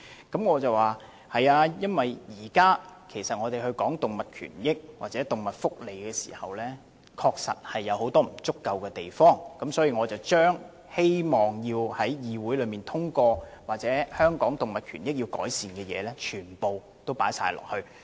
由於現時社會上討論維護動物權益和動物福利時，仍有很多不足之處，所以我希望若修正案能夠獲得議會通過，應盡量涵蓋在香港動物權益方面需要改善的地方。